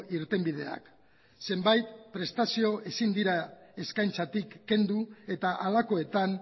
irtenbideak zenbait prestazio ezin dira eskaintzatik kendu eta halakoetan